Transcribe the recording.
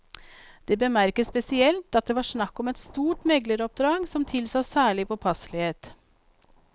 Det bemerkes spesielt at det var snakk om et stort megleroppdrag som tilsa særlig påpasselighet.